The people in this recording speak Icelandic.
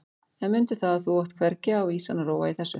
En mundu það að þú átt hvergi á vísan að róa í þessu.